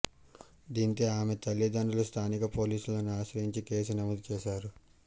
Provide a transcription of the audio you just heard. దీంతో ఆమె తల్లిదండ్రులు స్థానిక పోలీసులను ఆశ్రయించి కేసు నమోదు చేశారు